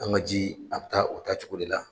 An ka ji a bɛ taa o taa cogo de la.